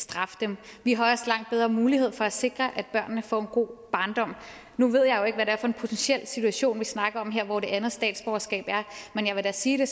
straffe dem vi har også langt bedre mulighed for at sikre at børnene får en god barndom nu ved jeg jo ikke hvad det er for en potentiel situation vi snakker om her og hvor det andet statsborgerskab er men jeg vil da sige det